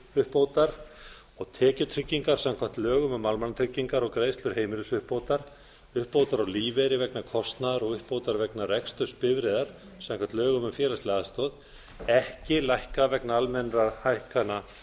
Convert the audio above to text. örorkuuppbótar og tekjutryggingar samkvæmt lögum um almannatryggingar og greiðslu heimilisuppbótar uppbótar á lífeyri vegna kostnaðar og uppbótar vegna reksturs bifreiðar samkvæmt lögum um félagslega aðstoð ekki lækkað vegna almennra hækkana